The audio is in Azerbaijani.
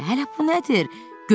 Hələ bu nədir?